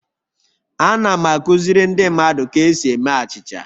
Ana m akụziri ndị mmadụ ka esi eme achịcha